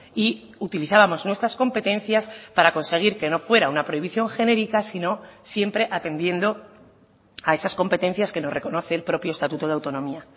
y utilizábamos nuestras competencias para conseguir que no fuera una prohibición genérica sino siempre atendiendo a esas competencias que nos reconoce el propio estatuto de autonomía